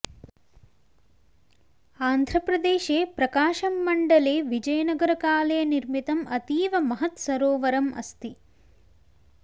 आन्ध्रप्रदेशे प्रकाशं मण्डले विजयनगरकाले निर्मितम् अतीव महत् सरोवरम् अस्ति